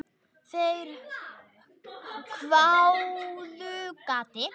Þeir hváðu: Gati?